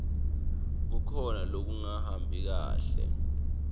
kukhona lokungahambi kahle